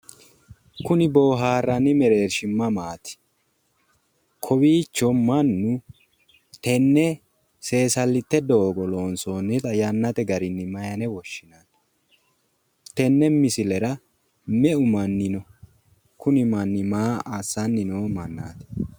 Kuni boohaarranni mereershi mamaati? Kowiicho amannu tenne seesallitte doogo loonsoonnita yannate garinni mayine woshshinanni? Tenne misilera meu manni no? Kuni manni maa assanni noo mannaati?